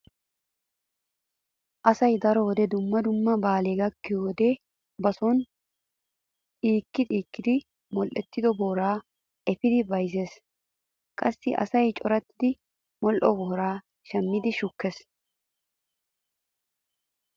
Asay daro wode dumma dumma baalee gakkiyo wode ba sooni xiikkii xiikkidi modhdhettido booraa efidi bayzzees. Qassi asay corattidi modhdho booraa shammidi shukkees.